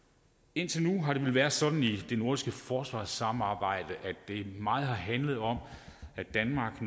indtil nu har det vel været sådan i det nordiske forsvarssamarbejde at det meget har handlet om at danmark